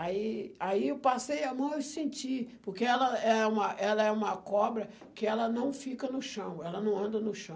Aí aí eu passei a mão e senti, porque ela é uma ela é uma cobra que ela não fica no chão, ela não anda no chão.